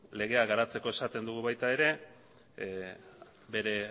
legea garatzeko esaten dugu baita ere bere